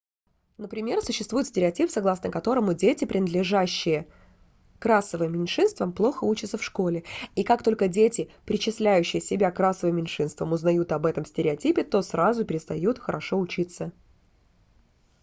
например существует стереотип согласно которому дети принадлежащие к расовым меньшинствам плохо учатся в школе и как только дети причисляющие себя к расовым меньшинствам узнают об этом стереотипе то сразу перестают хорошо учиться